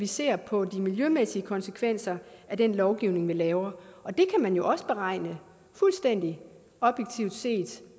ser på de miljømæssige konsekvenser af den lovgivning man laver det kan man jo også beregne fuldstændig objektivt set